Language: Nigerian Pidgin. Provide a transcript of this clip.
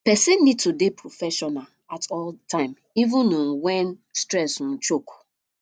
person need to dey professional at all time even um when stress um choke